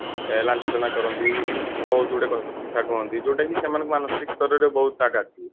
ଲାଞ୍ଛନା କରନ୍ତି ବହୁତ ଗୁଡେ କଥା କୁହନ୍ତି ଯୋଉଟା କି ସେମାନଙ୍କୁ ମାନସିକ ସ୍ତରରେ ବହୁତ ଆଘାତ ଦିଏ